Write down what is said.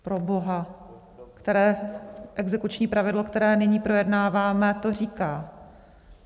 Proboha, které exekuční pravidlo, který nyní projednáváme, to říká?